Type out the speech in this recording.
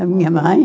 A minha mãe?